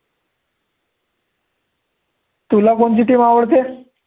तुला कोणची team आवडते.